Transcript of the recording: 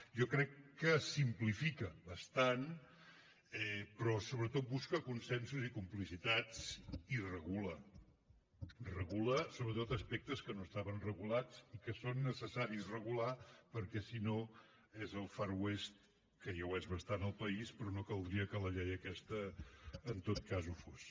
jo crec que simplifica bastant però sobretot busca consensos i complicitats i regula regula sobretot aspectes que no estaven regulats i que són necessaris regular perquè si no és el far west que ja ho és bastant el país però no caldria que la llei aquesta en tot cas ho fos